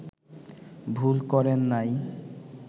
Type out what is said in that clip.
ভুল করেন নাই